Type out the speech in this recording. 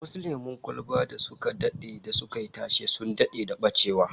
Some popular soft drinks went out of production, like Brahma Orange